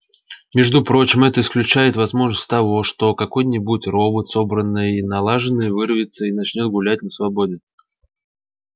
между прочим это исключает возможность того что какой-нибудь робот собранный и налаженный вырвется и начнёт гулять на свободе